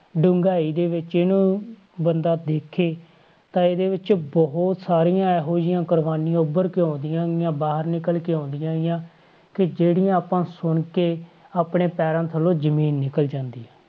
ਡੂੰਘਾਈ ਦੇ ਵਿੱਚ ਇਹਨੂੰ ਬੰਦਾ ਦੇਖੇ ਤਾਂ ਇਹਦੇ ਵਿੱਚ ਬਹੁਤ ਸਾਰੀਆਂ ਇਹੋ ਜਿਹੀਆਂ ਕੁਰਬਾਨੀਆਂ ਉੱਭਰ ਕੇ ਆਉਂਦੀਆਂ ਗੀਆਂ, ਬਾਹਰ ਨਿਕਲ ਕੇ ਆਉਂਦੀਆਂ ਗੀਆਂ ਕਿ ਜਿਹੜੀਆਂ ਆਪਾਂ ਸੁਣ ਕੇ, ਆਪਣੇ ਪੈਰਾਂ ਥੱਲੋਂ ਜ਼ਮੀਨ ਨਿਕਲ ਜਾਂਦੀ ਹੈ।